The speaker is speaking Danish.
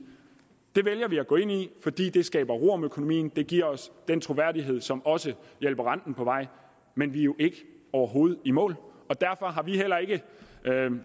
det vælger vi at gå ind i fordi det skaber ro om økonomien det giver os den troværdighed som også hjælper renten på vej men vi er jo overhovedet i mål og derfor har vi heller ikke